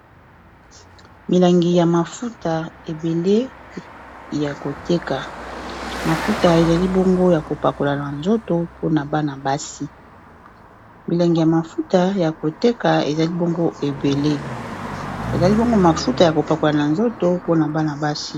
Milangi ya mafuta ebele ya koteka ,mafuta ezali bongo ya ko pakola na nzoto pona Bana basi.